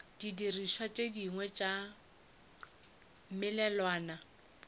didirišwa tše dingwe tša melawana